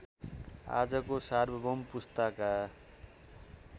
आजको सार्वभौम पुस्ताका